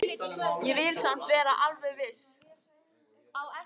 Ég vil samt vera alveg viss.